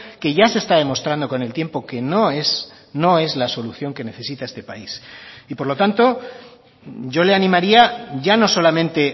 que ya se está demostrando con el tiempo que no es no es la solución que necesita este país y por lo tanto yo le animaría ya no solamente